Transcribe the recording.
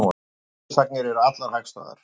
Fyrirsagnir eru allar hagstæðar